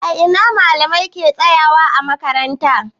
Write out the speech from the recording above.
A ina malamai ke tsayawa ã makaranta?